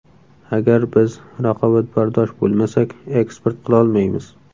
Agar biz raqobatbardosh bo‘lmasak, eksport qilolmaymiz.